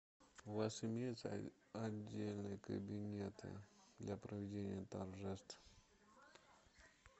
у вас имеются отдельные кабинеты для проведения торжеств